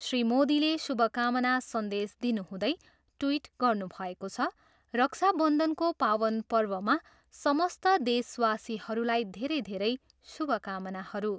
श्री मोदीले शुभकामना सन्देश दिनुहुँदै ट्विट गर्नुभएको छ, रक्षाबन्धनको पावन पर्वमा समस्त देशवासीहरूलाई धेरै धेरै शुभकामनाहरू।